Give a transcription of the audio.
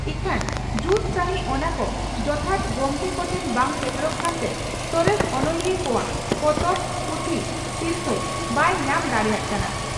ᱤᱠᱷᱟᱹᱱ ᱡᱩᱛ ᱥᱟᱹᱦᱤᱡ ᱚᱱᱟ ᱠᱚ ᱡᱚᱛᱷᱟᱛ ᱜᱚᱢᱠᱮ ᱠᱚᱴᱷᱮᱱ ᱵᱟᱝ ᱥᱮᱴᱮᱨᱚᱜ ᱠᱟᱱᱛᱮ ᱥᱚᱨᱮᱥ ᱚᱱᱚᱞᱤᱭᱟᱹ ᱠᱚᱣᱟᱜ ᱯᱚᱛᱚᱵ/ᱯᱩᱛᱷᱤ ᱥᱤᱨᱯᱷᱟᱹ ᱵᱟᱭ ᱧᱟᱢ ᱫᱟᱲᱮᱭᱟᱜ ᱠᱟᱱᱟ ᱾